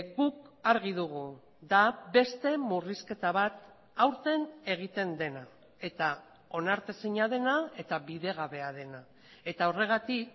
guk argi dugu da beste murrizketa bat aurten egiten dena eta onartezina dena eta bidegabea dena eta horregatik